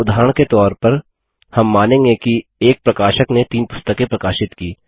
उदाहरण के तौर पर हम मानेंगे कि एक प्रकाशक ने 3 पुस्तकें प्रकाशित की